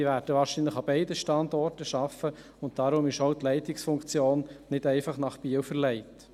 Sie werden wahrscheinlich an beiden Standorten arbeiten, und deshalb ist auch die Leitungsfunktion nicht einfach nach Biel verlegt.